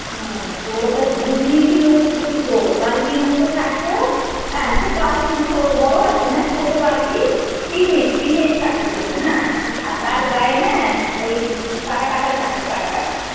তো তা ধুজনি ছিল ফুটো ফুটো বালতির মত থাকত বড় বালতি না ছোট বালতি টিনের টিনের থাকত সেটা হ্যাঁ আর তার গায়ে না ওই কাটা কাটা থাকত কাটা কাটা।